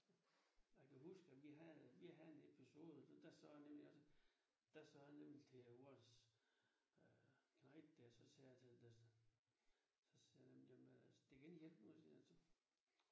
Jeg kan huske at vi havde vi havde en vi havde en episode der sagde jeg nemlig også der sagde jeg nemlig til vores øh knejt der så sagde jeg der så sagde han jamen det kan ikke hjælpe noget sagde jeg så